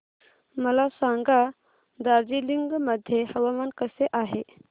मला सांगा दार्जिलिंग मध्ये हवामान कसे आहे